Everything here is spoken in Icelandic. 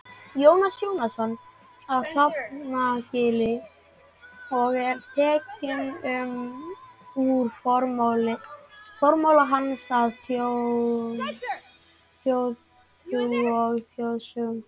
Jónas Jónasson á Hrafnagili og er tekinn úr formála hans að Þjóðtrú og þjóðsögnum.